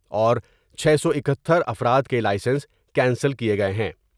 اور چھے سو اکہتر افراد کے لائیسنس کینسل کئے گئے ہیں ۔